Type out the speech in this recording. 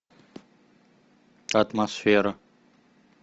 атмосфера